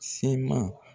Se ma